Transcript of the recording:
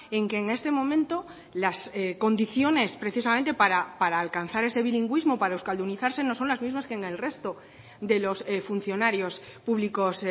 en que en este momento las condiciones precisamente para alcanzar ese bilingüismo para euskaldunizarse no son las mismas que en el resto de los funcionarios públicos